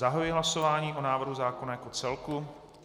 Zahajuji hlasování o návrhu zákona jako celku.